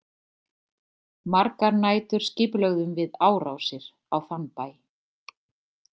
Margar nætur skipulögðum við árásir á þann bæ.